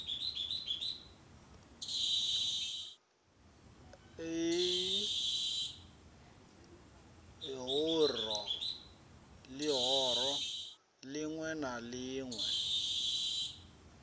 l ihoro ḽiṋwe na ḽiṋwe